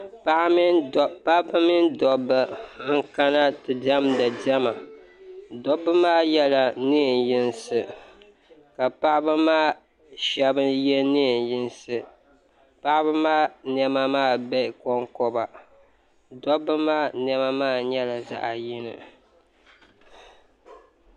Paɣaba mini dobba n kana ti diɛmdi diɛma dobba maa yela niɛn yinsi ka paɣaba shɛba ye niɛn yinsi paɣaba maa niɛma maa be konkoba dobba maa niɛma maa nyɛla zaɣa yini.